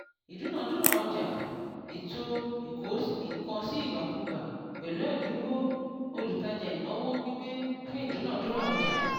ìdúnadúrà ọjà ètò ìkó-nǹkan-sí-ìgbàkúgbà pẹ̀lú ẹ̀dínwó - olútajà ìnáwó gbígbé fún ìdúnadúrà ọjà